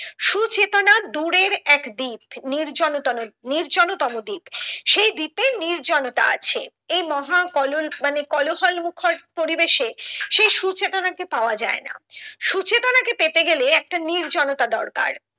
এর এক দিক নির্জলতন নির্জলতম দিক সেই দিকে নির্জনতা আছে এই মহা কলোল মানে কোলাহল মুখর পরিবেশে সেই সুচেতনাকে পাওয়া যায় না সুচেতনাকে পেতে গেলে একটা নির্জনতা দরকার